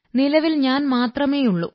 നിലവിൽ ഞാൻ മാത്രമേയുള്ളൂ